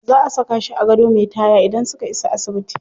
Za a saka shi a gado me taya idan suka isa asibiti.